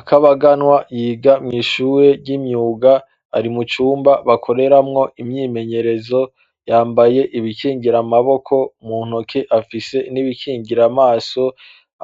Akabaganwa yiga mw'ishure ry'imyuga, ari mu cumba bakoreramwo imyimenyerezo, yambaye ibikingira amaboko, mu ntoke afise n'ibikingira amaso,